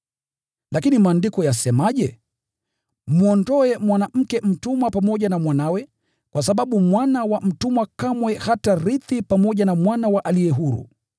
Lakini Maandiko yasemaje? “Mwondoe mwanamke mtumwa pamoja na mwanawe, kwa sababu mwana wa mwanamke mtumwa kamwe hatarithi pamoja na mwana wa aliye huru.”